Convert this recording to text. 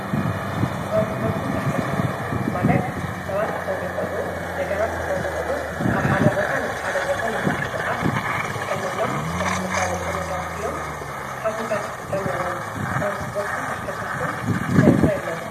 ተራንስጶርትን ተሽከርከርትን ማለት ሰባት ክኾኑ ይቕሉ ነገራት ክኾኑ ይቕሉ ካብ ሓደ ቦታና ሓደ ቦታን ምንቂ ሥቓስ ይጥቀመሎም ሥራሕ መሣዘጠ ነገራት እዮም ንስኻትም ካብ ትጥቀምዎም ትራንስጶርትን ተሸከርክርትን እንተይንተየለዉ።